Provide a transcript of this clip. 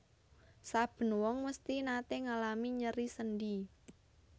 Saben wong mesthi naté ngalami nyeri sendhi